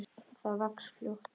Það vex fljótt.